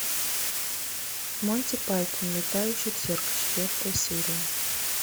монти пайтон летающий цирк четвертая серия